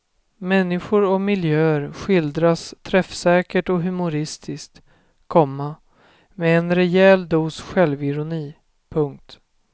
Människor och miljöer skildras träffsäkert och humoristiskt, komma med en rejäl dos självironi. punkt